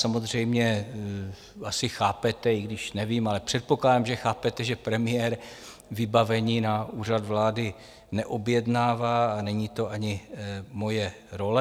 Samozřejmě asi chápete, i když nevím, ale předpokládám, že chápete, že premiér vybavení na Úřad vlády neobjednává, a není to ani moje role.